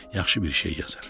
Yaxşı bir şey yazar.